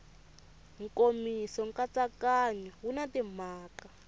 nkomiso nkatsakanyo wu na timhaka